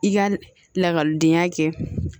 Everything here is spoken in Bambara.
I ka lakɔlidenya kɛ